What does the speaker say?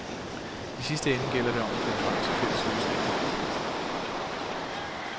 I sidste ende gælder det om at finde frem til fælles løsninger.